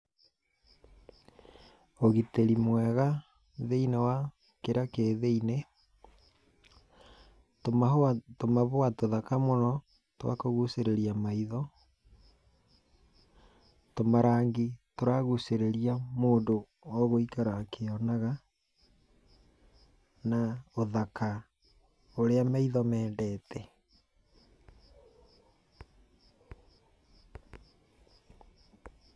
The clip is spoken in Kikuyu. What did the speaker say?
Ũgitĩri mwega thĩiniĩ wa kĩrĩa kĩ thĩiniĩ. Tumahũa, tumabũa tũthaka mũno twakũgucĩrĩria maitho. Tũmarangi tũragucĩrĩria mũndũ oo gũikara akĩonaga na ũthaka ũrĩa maitho mendete.